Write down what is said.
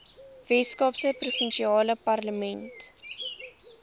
weskaapse provinsiale parlement